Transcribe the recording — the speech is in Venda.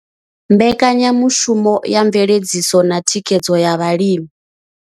Mbekanyamushumo ya mveledziso na thikhedzo ya vhalimi.